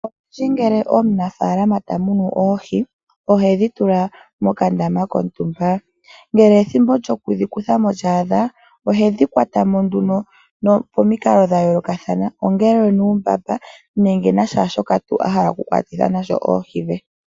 Olundji ngele omunafaalama ta munu oohi ohedhi tula mokandama kontumba, ngele ethimbo lyokudhi kutha mo lya adha ohedhi kwata mo pomikalo dha yoolokathana ongele onuumbamba nenge nakehe shoka ahala oku kwatitha mo oohi dhe.